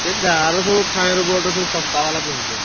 ସେ ଗାଁରେ ସବୁ Fireboltt ର ସବୁ ଶସ୍ତା ବାଲା ପିନ୍ଧୁଛନ୍ତି।